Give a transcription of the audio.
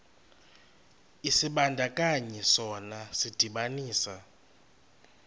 isibandakanyi sona sidibanisa